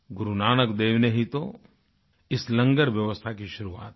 गुरु नानक देव ने ही तो इस लंगर व्यवस्था की शुरुआत की